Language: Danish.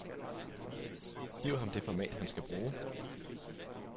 Giv ham det format, han skal bruge.